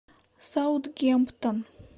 саутгемптон